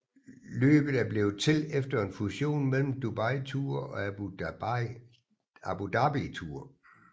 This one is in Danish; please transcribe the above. Løbet er blevet til efter en fusion mellem Dubai Tour og Abu Dhabi Tour